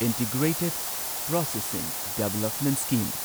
integrated processing development scheme